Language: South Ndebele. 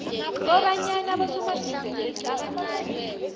kobanyana abosomabhizinisi abancani